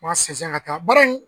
Mansin ka taa bara in